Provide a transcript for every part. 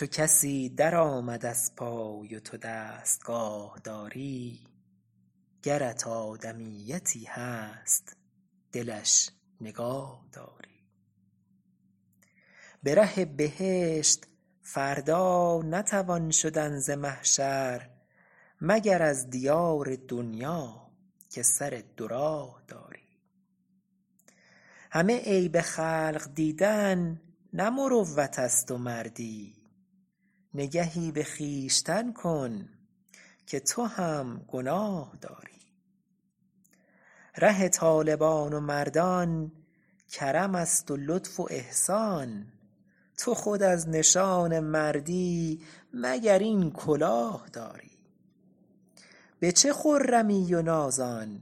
چو کسی در آمد از پای و تو دستگاه داری گرت آدمیتی هست دلش نگاه داری به ره بهشت فردا نتوان شدن ز محشر مگر از دیار دنیا که سر دو راه داری همه عیب خلق دیدن نه مروت است و مردی نگهی به خویشتن کن که تو هم گناه داری ره طالبان و مردان کرم است و لطف و احسان تو خود از نشان مردی مگر این کلاه داری به چه خرمی و نازان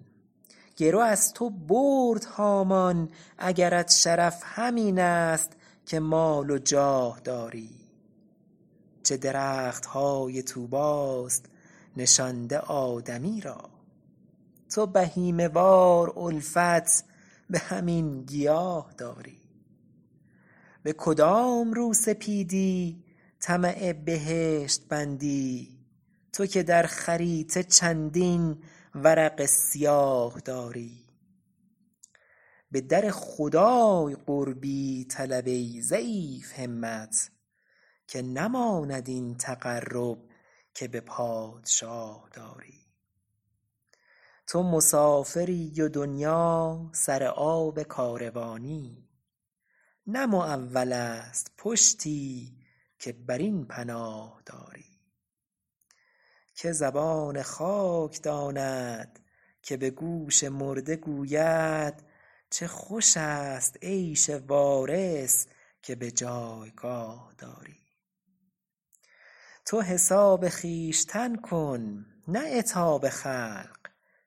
گرو از تو برد هامان اگرت شرف همین است که مال و جاه داری چه درخت های طوبی ست نشانده آدمی را تو بهیمه وار الفت به همین گیاه داری به کدام روسپیدی طمع بهشت بندی تو که در خریطه چندین ورق سیاه داری به در خدای قربی طلب ای ضعیف همت که نماند این تقرب که به پادشاه داری تو مسافری و دنیا سر آب کاروانی نه معول است پشتی که بر این پناه داری که زبان خاک داند که به گوش مرده گوید چه خوش است عیش وارث که به جایگاه داری تو حساب خویشتن کن نه عتاب خلق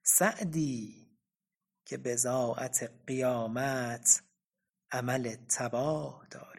سعدی که بضاعت قیامت عمل تباه داری